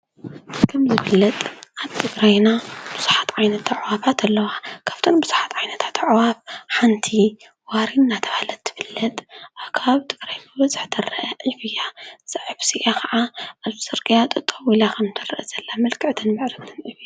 ከምዝብለጥ ኣብ ትግራይና ብዙኃት ዓይነታ ኣዕዋፋት ኣለዉ ከፍተን ብዙሓት ዓይነታተ አዕዋፋት ሓንቲ ዋሪይ ናተብሃለት ትፍለጥ ኣብ ትበግራይ በዝሕ ተርአ ዕፍ እያእዛ ዕፍእዝኣ ኸዓ ኣብ ዝከድካዮ ጠጠው ኢላ ክምትርአ ዘላ ምዕርግትን ፅብቅትን እያ።